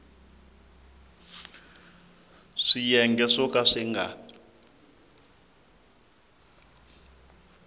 swiyenge swo ka swi nga